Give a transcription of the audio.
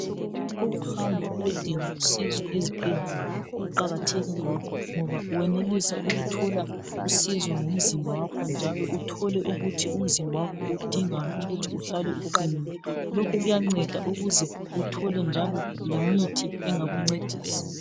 ukuhamba uyedinga usizo ezibhedlela kuqhakathekile ngoba owenelisa ukuthola usizo ngomzimba wakho njalo uthole ukuthi umzimba wakhio udingani ukuze uhlale uqhinile lokho kuanceda ukuze uthole njalo le mithi engakuncedisa